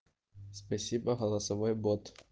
спасибо голосовой бот